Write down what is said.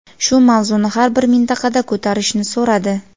shu mavzuni har bir mintaqada ko‘tarishni so‘radi.